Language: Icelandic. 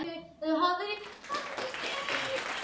Bóndinn á bænum hlýddi á messuna ásamt fjölskyldu sinni.